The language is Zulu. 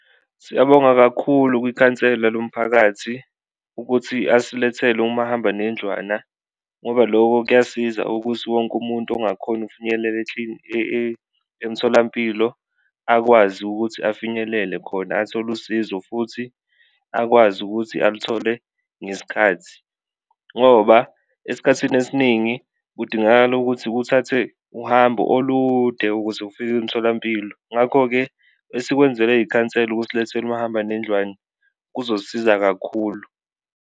Siyabonga kakhulu kwikhansela lomphakathi ukuthi asilethele umahambanendlwana ngoba loko kuyasiza ukuthi wonke umuntu ongakhoni ukufinyelela emtholampilo akwazi ukuthi afinyelele khona, athole usizo futhi akwazi ukuthi aluthole ngesikhathi. Ngoba esikhathini esiningi kudingakala ukuthi uthathe uhambo olude ukuze ufike umtholampilo ngakho-ke, esikwenzelwe yikhansela ukusilethela umahambanendlwane kuzosiza kakhulu.